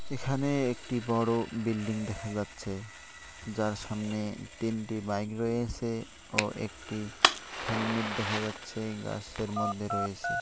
এখানে একটি বড়ো বিল্ডিং দেখা যাচ্ছে যার সামনে তিনটি বাইক রয়েছে ও একটি হেলমেট দেখা যাচ্ছে গাছের মধ্যে রয়েছে।